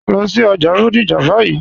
Lọ sí ọjà Bodija báyì.